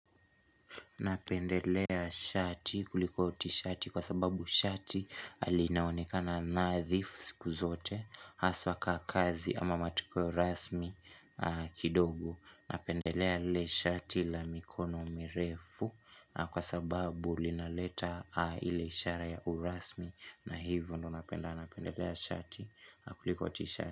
Napendelea shati kuliko tishati kwa sababu shati linaonekana nadhifu siku zote Haswa kaa kazi ama matukio rasmi kidogo Napendelea ile shati la mikono mirefu kwa sababu linaleta ile ishara ya urasmi na hivyo ndo napenda napendelea shati kuliko t-shati.